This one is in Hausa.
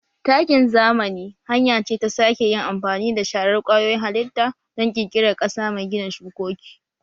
Takin zamani hanya ce ta sake yin amfani da sharar kwayoyin halitta don ƙirƙirar ƙasa mai gina shukoki